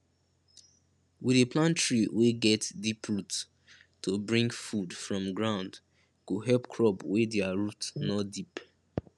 we dey plant tree wey get deep root to bring food from ground go help crop wey dia root no deep